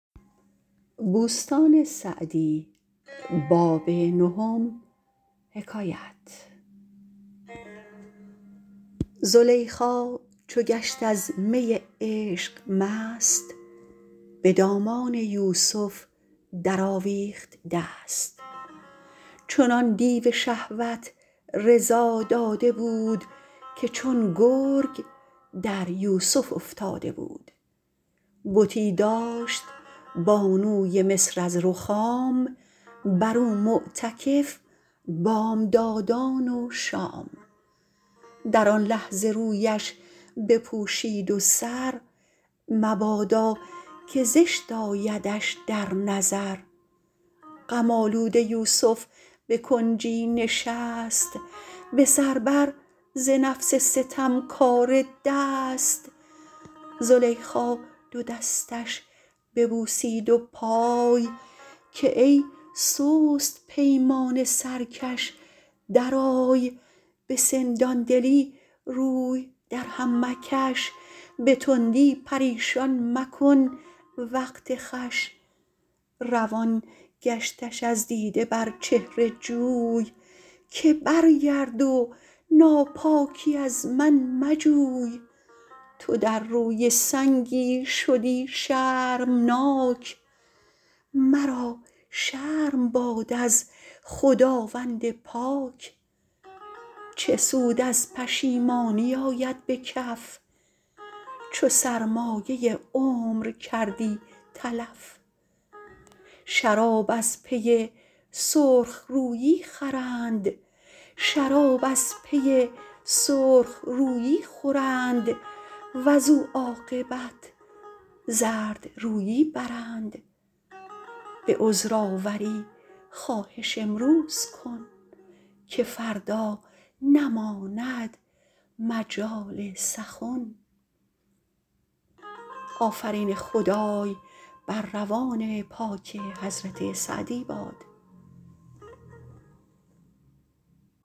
زلیخا چو گشت از می عشق مست به دامان یوسف در آویخت دست چنان دیو شهوت رضا داده بود که چون گرگ در یوسف افتاده بود بتی داشت بانوی مصر از رخام بر او معتکف بامدادان و شام در آن لحظه رویش بپوشید و سر مبادا که زشت آیدش در نظر غم آلوده یوسف به کنجی نشست به سر بر ز نفس ستمکاره دست زلیخا دو دستش ببوسید و پای که ای سست پیمان سرکش درآی به سندان دلی روی در هم مکش به تندی پریشان مکن وقت خوش روان گشتش از دیده بر چهره جوی که برگرد و ناپاکی از من مجوی تو در روی سنگی شدی شرمناک مرا شرم باد از خداوند پاک چه سود از پشیمانی آید به کف چو سرمایه عمر کردی تلف شراب از پی سرخ رویی خورند وز او عاقبت زردرویی برند به عذرآوری خواهش امروز کن که فردا نماند مجال سخن